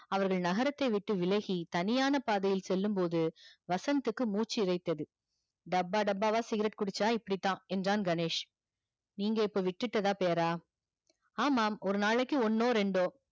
அவர்கள் நகரத்தை விட்டு விலகி தனியான பாதையில் செல்லும் போதுவசந்த் க்கு மூச்சி இறைத்தது டப்பா டப்பா வா cigarette குடிச்சா இப்படி தா என்றான் கணேஷ் நீங்க இப்போ விட்டுடதா பேரா ஆமாம் ஒரு நாளைக்கு ஒன்னோ ரெண்டோ